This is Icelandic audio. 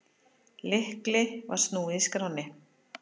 Lykli var snúið í skránni.